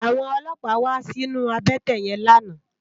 Àwòn ólópá wà sinú àbètè yèn làná